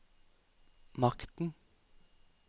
makten